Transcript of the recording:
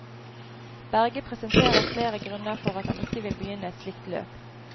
Berge presenterte flere grunner for at han ikke vil begynne et slikt løp.